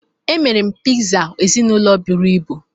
Emere m Pizza ezinụlọ buru ibu